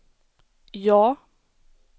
ja